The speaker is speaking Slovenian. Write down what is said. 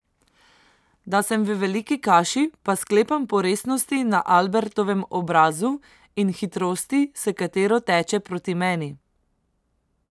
Da sem v veliki kaši, pa sklepam po resnosti na Albertovem obrazu in hitrosti, s katero teče proti meni.